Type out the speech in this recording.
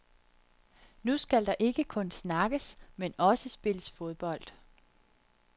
Nu skal der ikke kun snakkes, men også spilles fodbold.